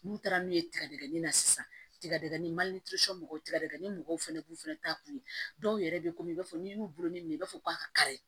N'u taara min ye tigɛdigɛnin na sisan tigɛdigɛni mɔgɔw tigɛdɛgɛ mɔgɔw fana b'u fɛnɛ ta kun ye dɔw yɛrɛ bɛ komi i b'a fɔ n'i y'u bolo min i b'a fɔ k'a kari